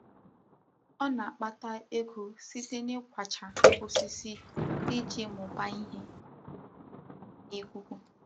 Ọ na-akpata ego site n'ịkwachaa osisi iji mụbaa ìhè na ikuku.